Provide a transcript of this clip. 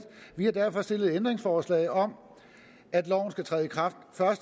vi har derfor stillet et ændringsforslag om at loven skal træde i kraft